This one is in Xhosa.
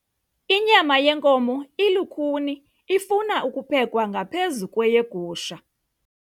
Inyama yenkomo ilukhuni ifuna ukuphekwa ngaphezu kweyegusha.